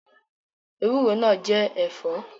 Bitterlead is also a vegetable